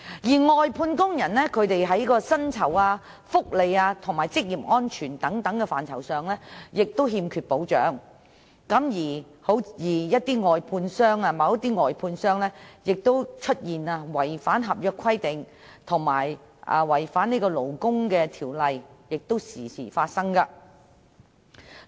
外判工人在薪酬、福利和職業安全等範疇均欠缺保障，而某些外判商違反合約規定或勞工法例，這些情況經常發生。